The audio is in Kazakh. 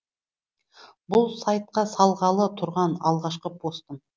бұл сайтқа салғалы тұрған алғашқы постым